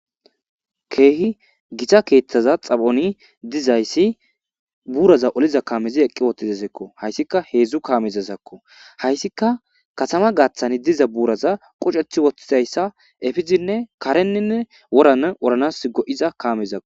Keehi githa keeththaza xaphoni dizayssi buuraza oliza kaamezi eqqi woththizezikko; hayssika heedzdzu kaamezazakko; hayssika kathama gaaththani diza buuraza quceththi woththidayssa efizinne kareninne woran oranas go7iza kaamezakko.